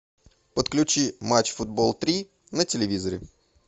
подключи матч футбол три на телевизоре